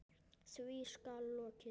Því skal lokið.